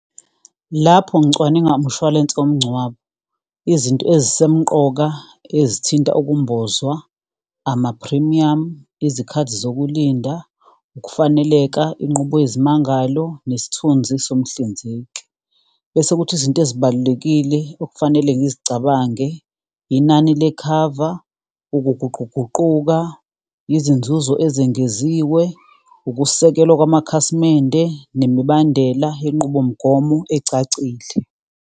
Lapho ngicwaninga umshwalense womngcwabo, izinto ezisemqoka ezithinta ukumbozwa, amaphrimiyamu, izikhathi zokulinda, ukufaneleka, inqubo yezimangalo nesithunzi somhlinzeki. Bese kuthi izinto ezibalulekile okufanele ngizicabange, inani lekhava, ukuguquguquka, izinzuzo ezengeziwe, ukusekelwa kwamakhasimende, nemibandela yenqubomgomo ecacile.